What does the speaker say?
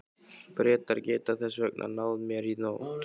Bretar geta þess vegna náð mér í nótt.